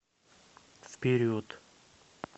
вперед